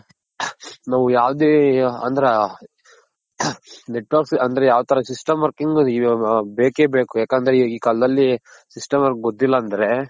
ನಾವು ಯಾವ್ದೆ ಅಂದ್ರ Network ಅಂದ್ರೆ ಯಾವ ತರ system working ಬೇಕೇ ಬೇಕು ಯಾಕಂದ್ರೆ ಈ ಕಾಲ್ದಲ್ಲಿ system work ಗೊತ್ತಿಲ್ಲ ಅಂದ್ರೆ.